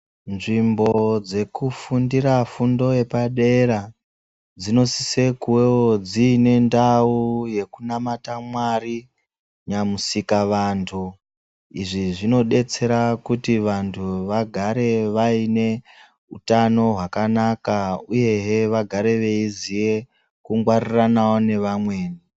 Nzvimbo dzekufundira fundo yepadera, dzinendawo yekunamata Mwari Nyamusika vantu. Izvi zvinodetsera kuti vantu vagare vaine hutano hwakanaka, uye vagare veiziye kungwariranawo wo nevamwe.